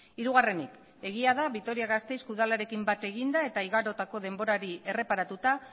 hirugarrenik egia da vitoria gasteizko udalarekin bat eginda eta igarotako denborari erreparatuta